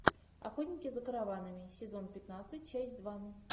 охотники за караванами сезон пятнадцать часть два